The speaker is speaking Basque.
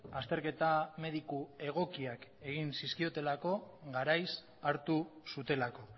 azterketa mediku egokiak egin zizkiotelako garaiz hartu zutelako